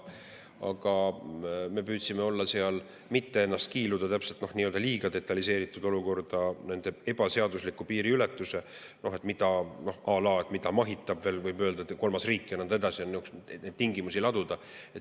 Me püüdsime mitte ennast kiiluda liiga detailiseeritud olukorda ebaseadusliku piiriületuse puhul, à la mida mahitab kolmas riik ja nõnda edasi neid tingimusi laduda.